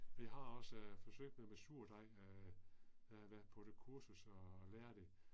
Vi har også øh forsøgt med med surdej øh øh været på et kursus og lære det